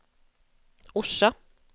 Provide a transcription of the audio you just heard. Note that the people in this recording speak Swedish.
Orsa